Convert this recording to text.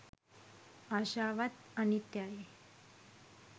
ආශාවත් අනිත්‍යයයි